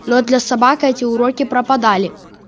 но для собак эти уроки пропадали